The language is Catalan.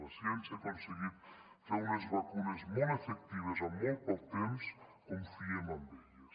la ciència ha aconseguit fer unes vacunes molt efectives amb molt poc temps confiem en elles